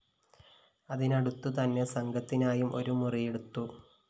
അതിനടുത്തുതന്നെ സംഘത്തിനായും ഒരു മുറിയെടുത്തു